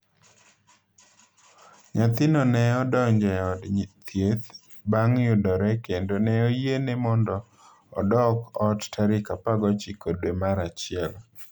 Nyathino ne odonjo e od thieth bang’ yudore kendo ne oyiene mondo odok ot tarik 19 dwe mar achiel.